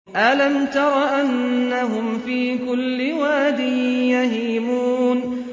أَلَمْ تَرَ أَنَّهُمْ فِي كُلِّ وَادٍ يَهِيمُونَ